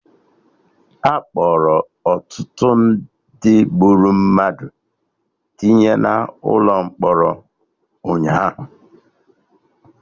Akpọrọ ọtụtụ ndị gburu mmadụ tinye na ụlọ mkpọrọ ụnyaahụ